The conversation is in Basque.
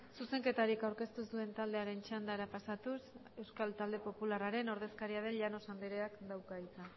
zuzenketarik aurkeztu ez duen taldearen txandara pasatuz euskal talde popularraren ordezkaria den llanos andereak dauka hitza